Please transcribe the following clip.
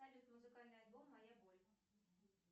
салют музыкальный альбом моя боль